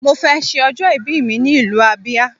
Mo fẹ ṣe ọjọ́ ìbí mi ní ìlú Abia